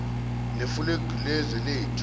nefulegi lezwe lethu